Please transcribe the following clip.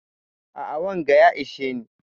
A'a wanga ya isheni